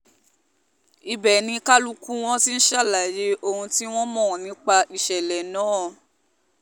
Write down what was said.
ibẹ̀ ni kálukú wọn ti ń ṣàlàyé ohun tí wọ́n mọ̀ nípa ìṣẹ̀lẹ̀ náà